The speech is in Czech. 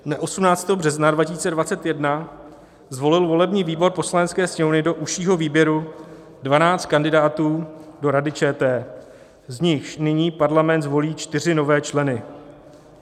Dne 18. března 2021 zvolil volební výbor Poslanecké sněmovny do užšího výběru 12 kandidátů do Rady ČT, z nichž nyní Parlament zvolí čtyři nové členy.